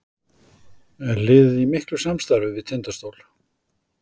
Er liðið í miklu samstarfi við Tindastól?